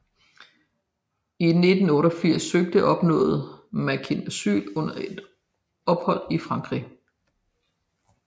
I 1988 søgte og opnåede Makin asyl under et ophold i Frankrig